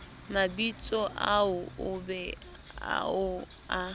mabitsoao o be o a